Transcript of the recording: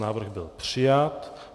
Návrh byl přijat.